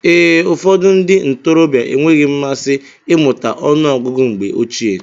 Ee, ụfọdụ ndị ntorobịa enweghị mmasị imuta ọnụ ọgụgụ mgbe ochie.